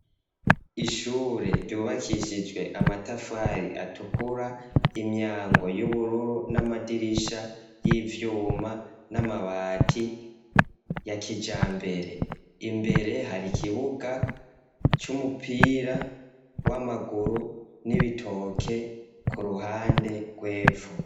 Ishure ryubakishijwe amatafari atukura, imyango y'ubururu n'amadirisha y'ivyuma, n'amabati ya kijambere. Imbere har'ikibuga c'umupira w'amaguru, n'ibitoke k'uruhande rw'epfo.